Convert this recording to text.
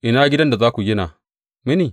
Ina gidan da za ku gina mini?